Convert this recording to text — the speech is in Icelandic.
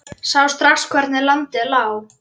Sá strax hvernig landið lá.